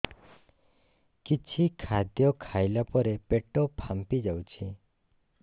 କିଛି ଖାଦ୍ୟ ଖାଇଲା ପରେ ପେଟ ଫାମ୍ପି ଯାଉଛି